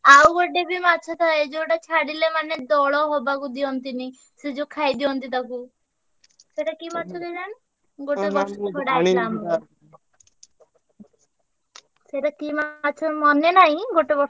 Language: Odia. ଆଉ ଗୋଟେ ବି ମାଛ ଥାଏ ଯୋଉଟା ଛାଡିଲେ ମାନେ ଦଳ ହବାକୁ ଦିଅନ୍ତିନି। ସେ ଯୋଉ ଖାଇଦିଅନ୍ତି ତାକୁ ସେଇଟା କି ମାଛ କେଜାଣି। ଗୋଟେ ବର୍ଷ ସେଇଟା କି ମାଛ ମନେ ନାହିଁ ଗୋଟେ ବର୍ଷ